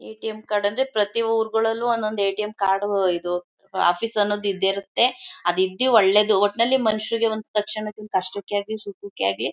ATM card ಅಂದ್ರೆ ಪ್ರತಿ ಊರುಗಳಲ್ಲೂ ಒಂದೊಂದು ಎ_ಟಿ_ಎಂ ಕಾರ್ಡ್ ಇದು ಆಫೀಸ್ ಅನ್ನೋದು ಇದ್ದೆ ಇರುತ್ತೆ ಅದು ಇದ್ರೆ ಒಳ್ಳೇದು ಒಟ್ಟಿನಲ್ಲಿ ಮನುಷ್ಯರಿಗೆ ಒಂದು ತಕ್ಷಣಕ್ಕೆ ಕಷ್ಟಕ್ಕೆ ಆಗ್ಲಿ ಸುಖಕ್ಕೆ ಆಗ್ಲಿ.